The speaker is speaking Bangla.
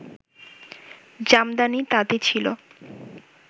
জামদানি তাঁতি ছিল